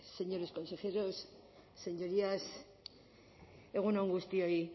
señores consejeros señorías egun on guztioi